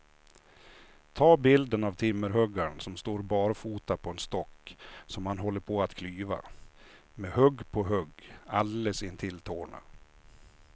Ta bilden av timmerhuggaren som står barfota på en stock som han håller på att klyva, med hugg på hugg alldeles intill tårna.